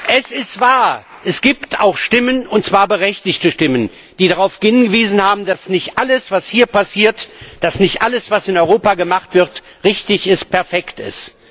Es ist wahr, es gibt auch Stimmen, und zwar berechtigte Stimmen, die darauf hingewiesen haben, dass nicht alles, was hier passiert, dass nicht alles, was in Europa gemacht wird, richtig und perfekt ist.